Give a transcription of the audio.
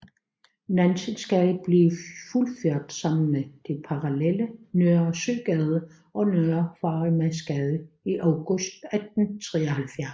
Nansensgade blev fuldført sammen med de parallelle Nørre Søgade og Nørre Farimagsgade i august 1873